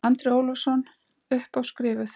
Andri Ólafsson: Upp á skrifuð?